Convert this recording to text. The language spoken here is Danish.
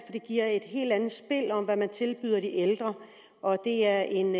giver et helt andet spil om hvad man tilbyder de ældre og det er en